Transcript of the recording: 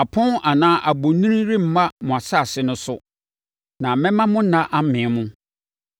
Apɔn anaa abonini remma mo asase no so na mɛma mo nna amee mo.